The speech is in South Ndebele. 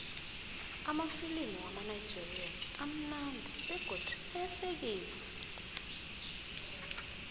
amafilimu wamanigerian amunandi begodu ayahlekisa